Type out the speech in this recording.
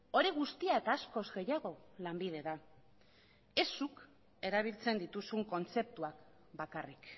hori guztia eta askoz gehiago lanbide da ez zuk erabiltzen dituzun kontzeptuak bakarrik